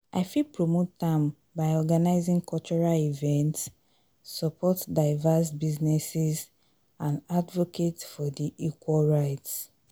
i fit promote am by organizing cultural events support diverse businesses and advocate for di equal rights.